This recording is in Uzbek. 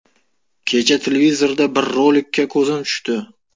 Kecha televizorda bir rolikka ko‘zim tushdi.